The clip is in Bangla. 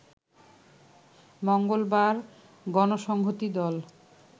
মঙ্গলবার গণসংহতি দল